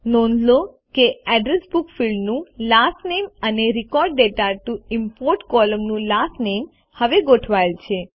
નોંધ લો કે એડ્રેસ બુક ફિલ્ડનું લાસ્ટ નામે અને રેકોર્ડ દાતા ટીઓ ઇમ્પોર્ટ કોલમનું લાસ્ટ નામે હવે ગોઠવાયેલ છે